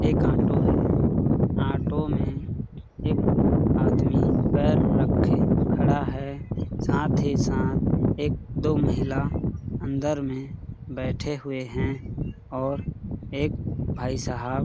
एक ऑटो है ऑटो में एक आदमी पैर रखे के खड़ा है साथ ही साथ एक-दो महिला अंदर में बैठे हुए है और एक भाई साहब --